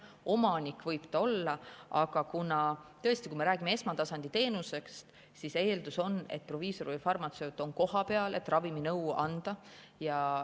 Omanik võib ta olla, aga kuna me räägime esmatasandi teenusest, siis eeldus on, et proviisor või farmatseut on kohapeal, et raviminõu anda.